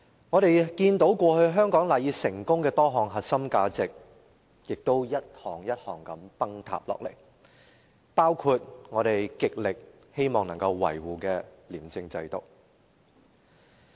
我們看到過去香港賴以成功的多項核心價值亦逐一崩塌，包括我們極力希望維護的廉政制度。